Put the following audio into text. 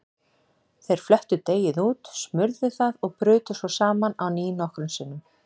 Þeir flöttu deigið út, smurðu það og brutu svo saman á ný nokkrum sinnum.